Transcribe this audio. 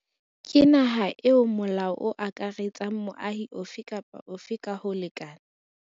Ke naha eo molao o akaretsang moahi ofe kapa ofe ka ho lekana.